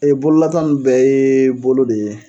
bololata ninnu bɛɛ ye bolo de ye